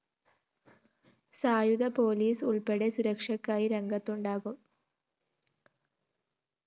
സായുധ പൊലീസ് ഉള്‍പ്പെടെ സുരക്ഷക്കായി രംഗത്തുണ്ടാകും